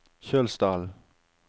Kjølsdalen